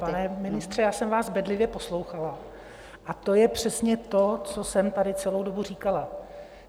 Pane ministře, já jsem vás bedlivě poslouchala a to je přesně to, co jsem tady celou dobu říkala.